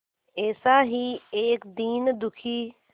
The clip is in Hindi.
ऐसा ही एक दीन दुखी